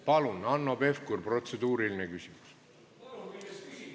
Palun, Hanno Pevkur, protseduuriline küsimus!